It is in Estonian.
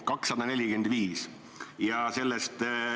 245!